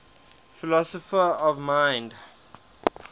philosophers of mind